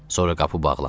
Sonra qapı bağlandı.